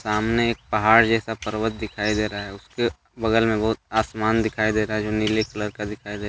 सामने एक पहाड़ जैसा पर्वत दिखाई दे रहा हैं उसके बगल बहुत आसमान दिखाई दे रहा है जो नीले कलर का दिखाई दे रहा है।